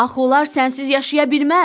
Axı onlar sənsiz yaşaya bilməz.